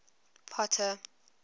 potter